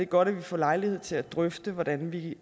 godt at vi får lejlighed til at drøfte hvordan vi